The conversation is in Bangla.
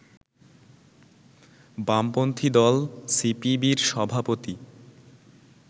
বামপন্থি দল সিপিবির সভাপতি